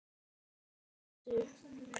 En getur það varist?